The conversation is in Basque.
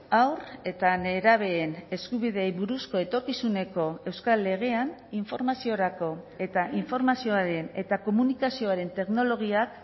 haur eta nerabeen eskubideei buruzko etorkizuneko euskal legean informaziorako eta informazioaren eta komunikazioaren teknologiak